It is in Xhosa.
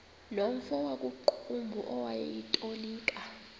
nomfo wakuqumbu owayetolika